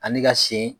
Ani ka sen